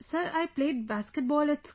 Sir, I played basketball at school